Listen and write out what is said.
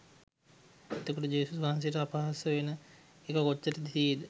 එතකොට ජේසුස් වහන්සෙට අපහාස වෙන ඒව කොච්චර තියේද?